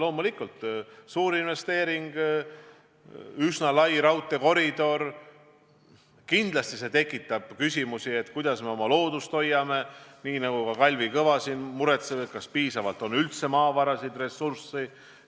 Loomulikult tekitab suur investeering, üsna lai raudteekoridor küsimusi, kuidas me oma loodust hoiame ja – nii nagu ka Kalvi Kõva siin muretseb – kas on piisavalt maavarasid, ressurssi.